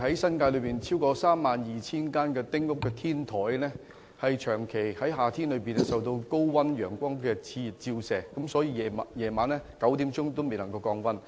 新界現時有超過32000間丁屋的天台，在夏天長期受高溫熾熱的陽光照射，到了晚上9時仍然未能降溫。